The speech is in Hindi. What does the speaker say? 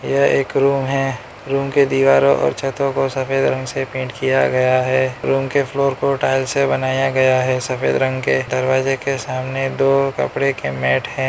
यह एक रूम है रूम के दीवारों और छतों को सफेद रंग से पेंट किया गया है रूम के फ्लोर को टाइल से बनाया गया है सफेद रंग के दरवाजे के सामने दो कपड़े के मैट हैं।